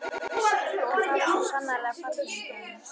En það var svo sannarlega rétt hjá honum.